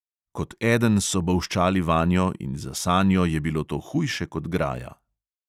Kot eden so bolščali vanjo in za sanjo je bilo to hujše kot graja.